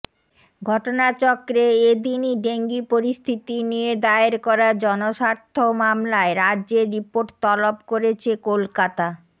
ঘটনাচক্রে এ দিনই ডেঙ্গি পরিস্থিতি নিয়ে দায়ের করা জনস্বার্থ মামলায় রাজ্যের রিপোর্ট তলব করেছে কলকাতা